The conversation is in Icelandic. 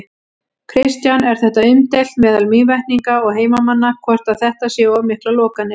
Kristján: Er þetta umdeilt meðal Mývetninga og heimamanna, hvort að þetta séu of miklar lokanir?